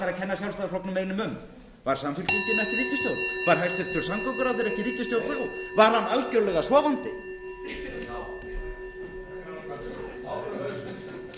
sjálfstæðisflokknum einum um var samfylkingin ekki í ríkisstjórn var hæstvirtur samgönguráðherra ekki í ríkisstjórn þá var hann algerlega sofandi